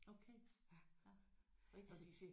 Okay ja rigtigt